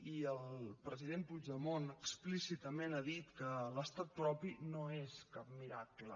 i el president puigdemont explícitament ha dit que l’estat propi no és cap miracle